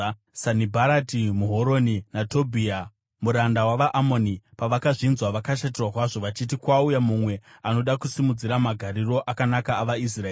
Sanibharati muHoroni naTobhia muranda wavaAmoni pavakazvinzwa vakashatirwa kwazvo vachiti kwauya mumwe anoda kusimudzira magariro akanaka avaIsraeri.